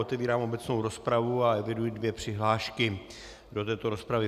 Otevírám obecnou rozpravu a eviduji dvě přihlášky do této rozpravy.